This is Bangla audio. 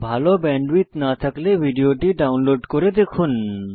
ভাল ব্যান্ডউইডথ না থাকলে ভিডিওটি ডাউনলোড করে দেখুন